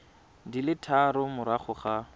di le tharo morago ga